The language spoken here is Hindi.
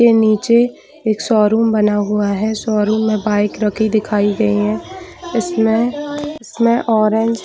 नीचे एक शोरूम बना हुआ है शोरूम में बाइक रखी दिखाई दे रही है इस में इस में ऑरेंज --